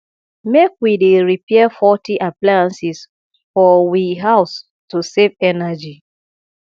make we dey repair faulty appliances for we house to save energy